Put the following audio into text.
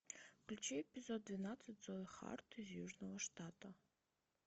включи эпизод двенадцать зои харт из южного штата